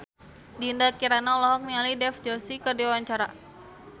Dinda Kirana olohok ningali Dev Joshi keur diwawancara